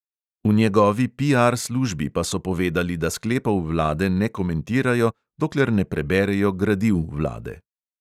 V njegovi piar službi pa so povedali, da sklepov vlade ne komentirajo, dokler ne preberejo gradiv vlade.